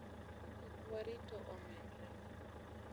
"Kik warito omedre.